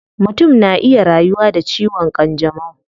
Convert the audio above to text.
Mutum na iya rayuwa da ciwon kanjamau